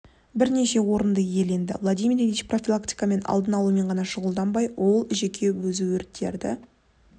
бірінші орынды иеленді владимир ильич профилактика мен алдын алумен ғана шұғылданбай ол жеке өзі өрттерді